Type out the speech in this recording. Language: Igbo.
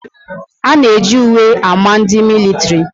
A na eji uwe ámá ndị militiri